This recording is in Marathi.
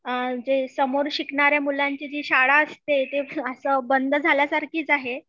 समोर शिकणाऱ्या मुलांची जी शाळा असते ते असं बंद झाल्यासारखीच आहे